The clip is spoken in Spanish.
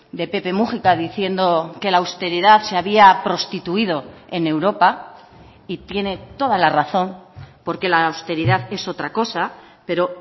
de pepe múgica diciendo que la austeridad se había prostituido en europa y tiene toda la razón porque la austeridad es otra cosa pero